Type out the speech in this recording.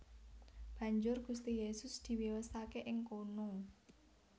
Banjur Gusti Yesus diwiyosaké ing kono